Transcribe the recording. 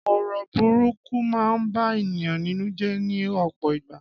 Ọ̀rọ̀ burúkú ma ń bá ènìyàn nínú jé ní òpò ìgbà